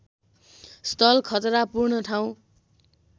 स्थल खतरापूर्ण ठाउँ